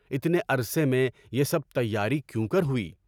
اتنے عرصے میں یہ سب تیاری کیوں کر ہوئی؟